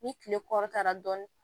Ni kile kɔrɔ tara dɔɔnin